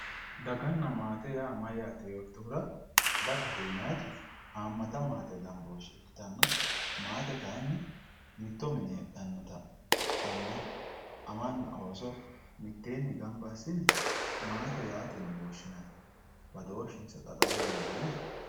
Daganna maate yaa mayyate yoottohura ,dagate yinanniti hamata maate gamboshe ikkittanna maate kayinni mittto mine heedhanotta anna amana ooso mitteenni gamba assine maate yaateni woshshinanni badooshinsano xa xawe leelinohe?